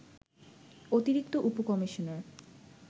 অতিরিক্ত উপ-কমিশনার